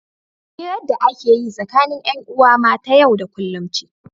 hirar da ake yi tsakanin 'yan'uwa ma ta yau da kullum ce